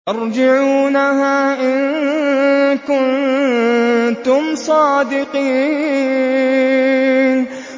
تَرْجِعُونَهَا إِن كُنتُمْ صَادِقِينَ